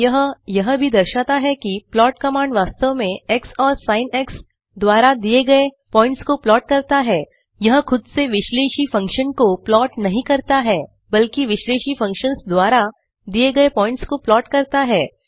यह यह भी दर्शाता है कि प्लॉट कमांड वास्तव में एक्स और सिन द्वारा दिए गए प्वॉइंट्स को प्लॉट करता है यह खुद से विश्लेषी फंक्शन को प्लॉट नहीं करता है बल्कि विश्लेषी फंक्शन्स द्वारा दिए गए प्वॉइंट्स को प्लॉट करता है